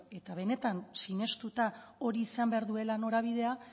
eta benetan sinestuna hori izan behar duela norabidea